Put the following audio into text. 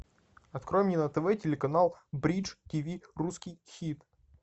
открой мне на тв телеканал бридж тв русский хит